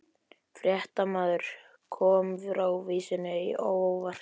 Fréttamaður: Kom frávísunin á óvart?